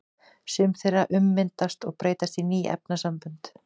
Sum þeirra ummyndast og breytast í ný efnasambönd.